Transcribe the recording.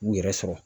U yɛrɛ sɔrɔ